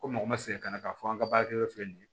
Ko mɔgɔ ma segin ka na k'a fɔ an ka baarakɛyɔrɔ filɛ nin ye